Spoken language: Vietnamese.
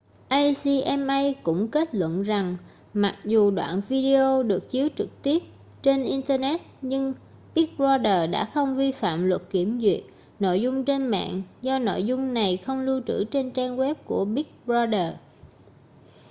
acma cũng kết luận rằng mặc dù đoạn video được chiếu trực tiếp trên internet nhưng big brother đã không vi phạm luật kiểm duyệt nội dung trên mạng do nội dung này không lưu trữ trên trang web của big brother